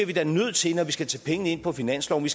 vi da nødt til når vi skal tage pengene ind på finansloven